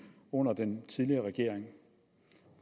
under den tidligere regering